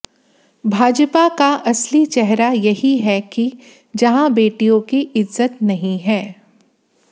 भाजपा का असली चेहरा यही है कि जहां बेटियों की इज्जत नहीं है